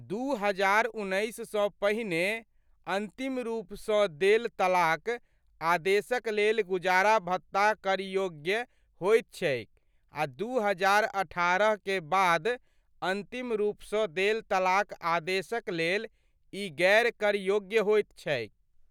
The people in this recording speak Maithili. दू हजार उन्नैस सँ पहिने अन्तिम रूपसँ देल तलाक आदेशक लेल गुजारा भत्ता कर योग्य होइत छैक आ दू हजार अठारह के बाद अन्तिम रूपसँ देल तलाक आदेशक लेल ई गैर कर योग्य होइत छैक।